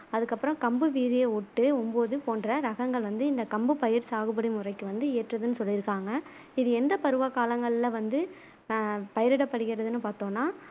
அதுக்கு அப்புறம் கம்பு வீரிய ஒட்டு ஒம்பொது போன்ற ரகங்கள் வந்து இந்த கம்பு பயிர் சாகுபடி முறைக்கு வந்து ஏற்றதுனு சொல்லிருக்காங்க இது எந்த பருவ காலங்கள்ல வந்து ஆஹ் பயிரிடப்படுகிறதுனு பாத்தோம்னா